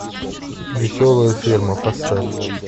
веселая ферма поставь